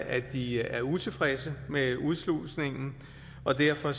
at de er utilfredse med udslusningen og derfor